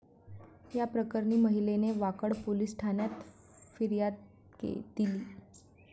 याप्रकरणी महिलेने वाकड पोलीस ठाण्यात फिर्याद दिली.